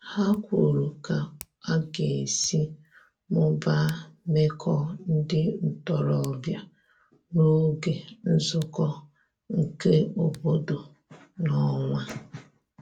Ha kwuru ka aga esi mụbaa meko ndi ntorobia n'oge nzuko nke obodo n'onwa